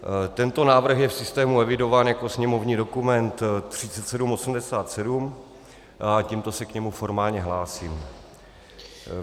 Tento návrh je v systému evidován jako sněmovní dokument 3787 a tímto se k němu formálně hlásím.